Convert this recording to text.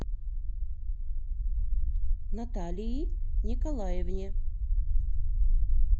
наталии николаевне